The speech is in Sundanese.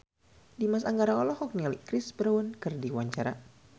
Dimas Anggara olohok ningali Chris Brown keur diwawancara